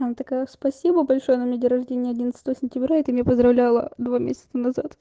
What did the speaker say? она такая спасибо большое на меня день рождения одиннадцатого сентября это не поздравляла два месяца